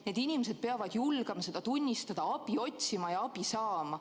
Need inimesed peavad julgema seda tunnistada, abi otsima ja abi saama.